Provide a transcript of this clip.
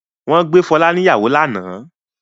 Wọ́n gbé Fọlá níyàwó lánàá?